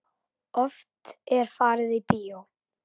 Oft er farið í bíó.